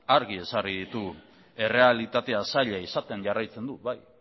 argi ezarri ditugu errealitatea zaila izaten jarraitzen du bai